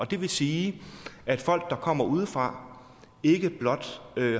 det vil sige at folk der kommer udefra ikke blot